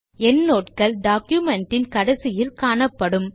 endnote கள் document இன் கடைசியில் காணப்படும்